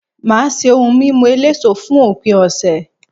Màá ṣé ohun mímu eléso fún òpin ọ̀sẹ̀